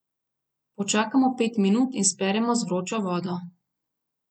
Počakamo pet minut in speremo z vročo vodo.